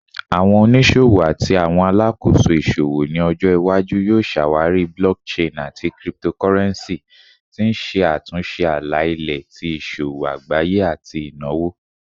Awọn oniṣowo ati awọn alakoso iṣowo ni ojo iwaju yoo ṣawari blockchain ati cryptocurrency, ti n ṣe atunṣe ala-ilẹ ti iṣowo agbaye ati inawo